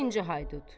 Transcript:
İkinci Haydut.